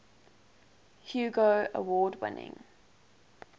hugo award winning